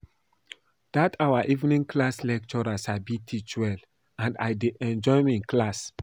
Dat our evening class lecturer sabi teach well and I dey enjoy im class